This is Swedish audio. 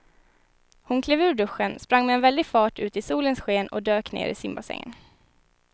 Hon klev ur duschen, sprang med väldig fart ut i solens sken och dök ner i simbassängen.